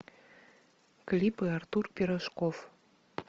клипы артур пирожков